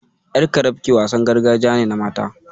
Ƴar carafke wasan gargajiya ne na mata.